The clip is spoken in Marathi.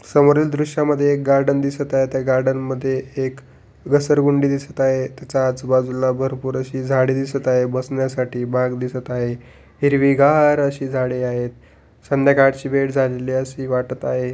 समोरील दृष्या मध्ये एक गार्डन दिसत आहे त्या गार्डन मध्ये एक घसरघुंडी दिसत आहे तेचा आजू-बाजूला भरपूर अशी झाडे दिसत आहे बसण्यासाठी बाक दिसत आहे हिरवी गार अशी झाडे आहेत संध्याकाळची वेळ झालेली अशी वाटत आहे.